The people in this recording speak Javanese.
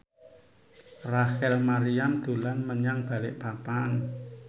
Rachel Maryam dolan menyang Balikpapan